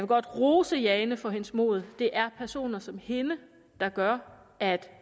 godt rose jane for hendes mod det er personer som hende der gør at